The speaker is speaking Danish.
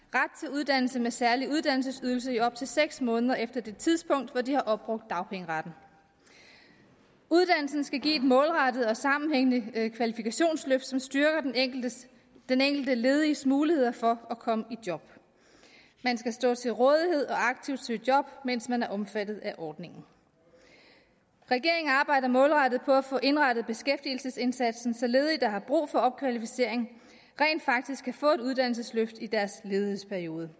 uddannelse med særlig uddannelsesydelse i op til seks måneder efter det tidspunkt hvor de har opbrugt dagpengeretten uddannelsen skal give et målrettet og sammenhængende kvalifikationsløft som styrker den enkelte den enkelte lediges muligheder for at komme i job man skal stå til rådighed og aktivt søge job mens man er omfattet af ordningen regeringen arbejder målrettet på at få indrettet beskæftigelsesindsatsen så ledige der har brug for opkvalificering rent faktisk kan få et uddannelsesløft i deres ledighedsperiode